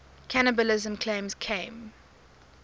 cannibalism claims came